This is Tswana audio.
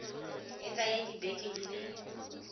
e tsaya dibeke di le